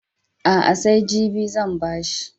A'a, sai jibi zan ba shi.